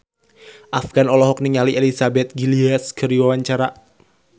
Afgan olohok ningali Elizabeth Gillies keur diwawancara